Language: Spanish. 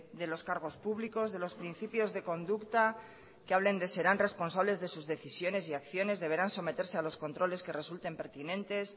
de los cargos públicos de los principios de conducta que hablen de serán responsables de sus decisiones y acciones deberán someterse a los controles que resulten pertinentes